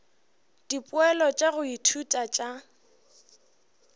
dipoelo tša go ithuta tša